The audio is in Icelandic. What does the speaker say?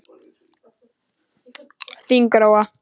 Þín Gróa.